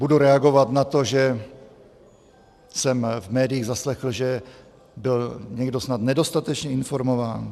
Budu reagovat na to, že jsem v médiích zaslechl, že byl někdo snad nedostatečně informován.